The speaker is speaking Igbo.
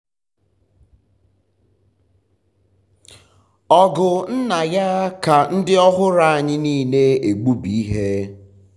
um ọgụ nna ya um ka ndị ọhụrụ anyị niile egbubi ihe.